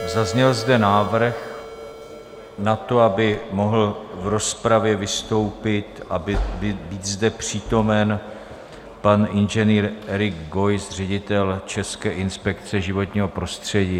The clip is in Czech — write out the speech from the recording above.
Zazněl zde návrh na to, aby mohl v rozpravě vystoupit a být zde přítomen pan inženýr Erik Geuss, ředitel České inspekce životního prostředí.